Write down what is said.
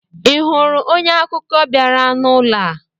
I hụrụ onye akụkọ bịara n'ụlọ a?